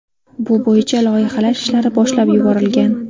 Bu bo‘yicha loyihalash ishlari boshlab yuborilgan.